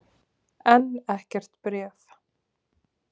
Enn ekkert bréf.